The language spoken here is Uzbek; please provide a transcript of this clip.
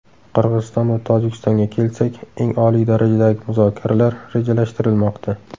Qirg‘iziston va Tojikistonga kelsak, eng oliy darajadagi muzokaralar rejalashtirilmoqda.